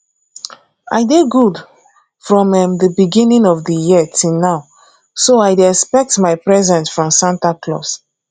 i dey good from um the beginning of the year till now so i dey expect my present from santa claus